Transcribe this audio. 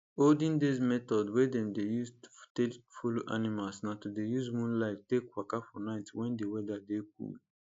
olden days method wey dem dey use take follow animals na to dey use moonlight take waka for night when d weather dey cool